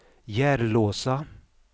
Järlåsa